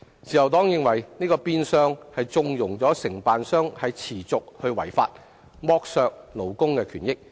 自由黨認為這變相縱容承辦商持續違法，剝削勞工權益。